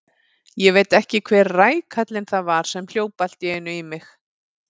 Ég veit ekki hver rækallinn það var sem hljóp allt í einu í mig.